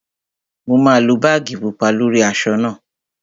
Mo máa lo báàgì pupa lórí aṣọ náà